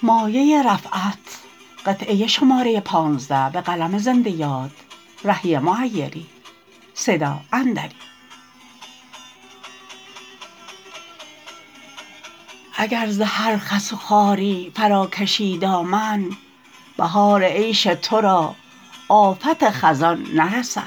اگر ز هر خس و خاری فراکشی دامن بهار عیش ترا آفت خزان نرسد